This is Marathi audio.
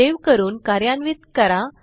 सेव्ह करून कार्यान्वित करा